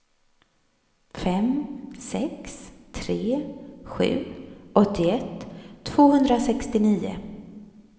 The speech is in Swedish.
fem sex tre sju åttioett tvåhundrasextionio